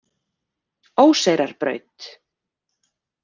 Óseyrarbraut